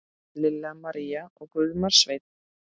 Lilja María og Guðmar Sveinn.